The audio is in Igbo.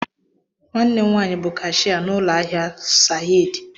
Nwanne m nwaanyị bu kashiya n'ụlọ ahịa Sahaad